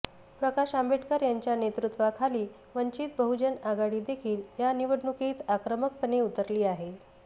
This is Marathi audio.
प्रकाश आंबेडकर यांच्या नेतृत्वाखालील वंचित बहुजन आघाडीदेखील या निवडणुकीत आक्रमकपणे उतरली आहे